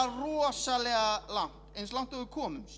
rosalega langt eins langt og við komumst